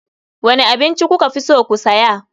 Wane abinci kuka fi so ku saya.